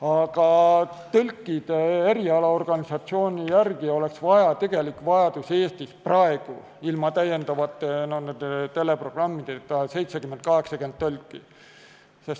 Aga tõlkide erialaorganisatsiooni arvates oleks tegelik vajadus Eestis praegu, kui ei ole veel neid teleprogramme, 70–80 tõlki.